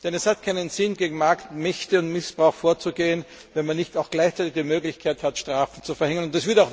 Es hat keinen Sinn, gegen Marktmächte und missbrauch vorzugehen, wenn man nicht auch gleichzeitig die Möglichkeit hat, Strafen zu verhängen.